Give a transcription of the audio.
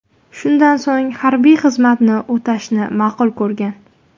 Shundan so‘ng harbiy xizmatni o‘tashni ma’qul ko‘rgan.